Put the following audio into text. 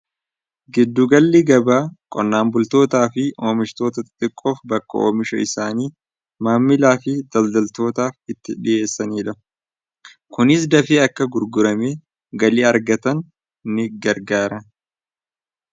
giddugalli gaba qonnaan bultootaa fi oomishtoota xiqqoof bakka oomisha isaanii maammilaa fi daldaltootaaf itti dhiheessanii dha kunis dafii akka gurgurame galii argatan ni gargaara